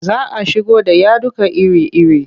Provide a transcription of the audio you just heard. Za a shigo da yaduka iri-iri.